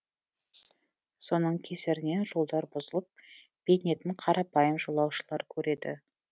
соның кесірінен жолдар бұзылып бейнетін қарапайым жолаушылар көреді